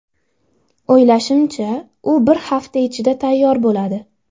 O‘ylashimcha, u bir hafta ichida tayyor bo‘ladi.